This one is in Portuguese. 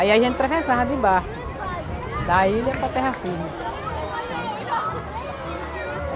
Aí a gente atravessava de barco, da ilha para terra firme, sabe?